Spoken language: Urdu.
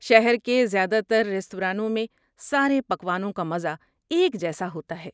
شہر کے زیادہ تر ریستورانوں میں سارے پکوانوں کا مزہ ایک جیسا ہوتا ہے۔